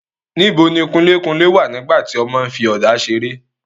níbo ni kunlékunlé wà nígbà tí ọmọ ń fi ọ̀dà seré?